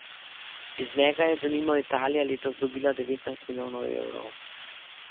Iz njega je, denimo, Italija letos dobila devetnajst milijonov evrov.